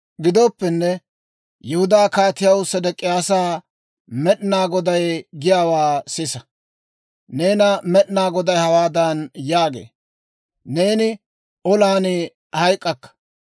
« ‹Gidooppenne, Yihudaa Kaatiyaw Sedek'iyaasaa, Med'inaa Goday giyaawaa sisa! Newaa Med'inaa Goday hawaadan yaagee; «Neeni olan hayk'k'akka;